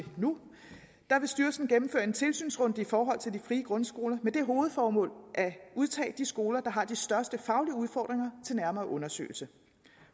nu vil styrelsen gennemføre en tilsynsrunde i forhold til de frie grundskoler med det hovedformål at udtage de skoler der har de største faglige udfordringer til nærmere undersøgelse